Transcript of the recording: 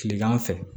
Kilegan fɛ